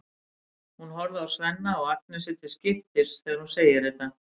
Hún horfir á Svenna og Agnesi til skiptis þegar hún segir þetta.